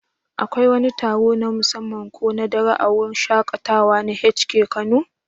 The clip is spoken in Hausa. Akwai wani taron na musamman ko na dare a wurin shaƙatawa na H&K Kano?